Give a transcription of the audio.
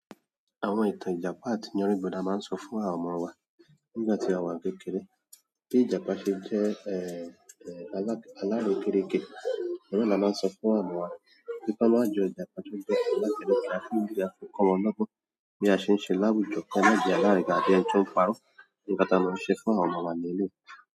Àwọn ìtàn Ìjàpá àti yánrínbo ni a máa ń sọ fún àwọn ọmọ wa nígbà tí àwọn kékeré bí Ìjàpá ṣe jẹ́ ẹ, ẹ alak-- alárè kéreké. Òhun náà ni a máa n sọ fún àwọn ọmọ wa pé ki wọn má jọ Ìjàpá tó jẹ́ alárèké àfi n bí yí, a fi ń kọ́ wọn lógbón bí a ṣe ń ṣe láwùjọ kí wọ́n má jẹ alárìí tàbí ẹni tó ń parọ́ nǹkan tá a máa ń ṣe fún àwọn ọmọ wa ní eléyìí.